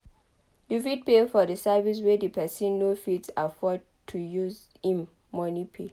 You fit pay for service wey di person no fit afford to use im money pay